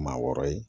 Maa wɔɔrɔ ye